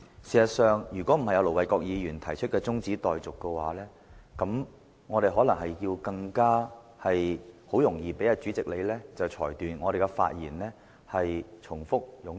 事實上，如果不是盧偉國議員動議中止待續議案，我們可能更容易被你裁定我們的發言內容重複和冗贅。